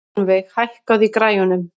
Hjálmveig, hækkaðu í græjunum.